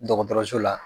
Dɔgɔtɔrɔso la